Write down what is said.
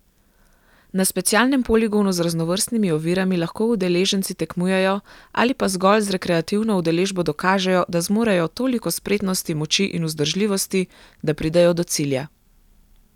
Na specialnem poligonu z raznovrstnimi ovirami lahko udeleženci tekmujejo ali pa zgolj z rekreativno udeležbo dokažejo, da zmorejo toliko spretnosti, moči in vzdržljivosti, da pridejo do cilja.